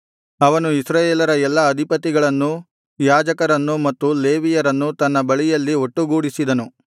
ಅವನು ಇಸ್ರಾಯೇಲರ ಎಲ್ಲಾ ಅಧಿಪತಿಗಳನ್ನೂ ಯಾಜಕರನ್ನೂ ಮತ್ತು ಲೇವಿಯರನ್ನೂ ತನ್ನ ಬಳಿಯಲ್ಲಿ ಒಟ್ಟುಗೂಡಿಸಿದನು